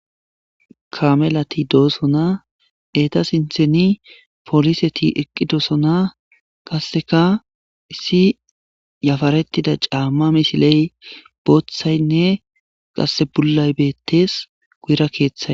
kamelati doosona eta sintheni poliseti eqqi doosona kasseka issi yafarettida caamma misiley booththaynne qasse pullay bettees guyra keeththay